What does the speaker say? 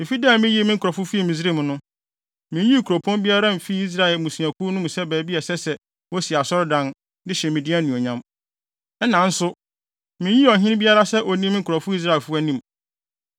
‘Efi da a miyii me nkurɔfo fii Misraim no, minyii kuropɔn biara mfii Israel mmusuakuw no mu sɛ baabi a ɛsɛ sɛ wosi Asɔredan, de hyɛ me din anuonyam. Ɛnna nso, minyii ɔhene biara sɛ onni me nkurɔfo Israelfo anim.